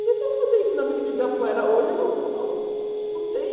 Mas se eu vou fazer isso na Avenida Ibirapuera hoje, uh uh não tem.